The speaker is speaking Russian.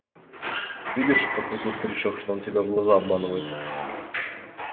видишь подхватил старичок что он тебя в глаза обманывает